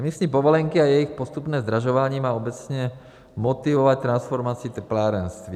Emisní povolenky a jejich postupné zdražování má obecně motivovat transformaci teplárenství.